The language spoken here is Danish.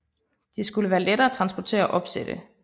De skulle være lette at transportere og opsætte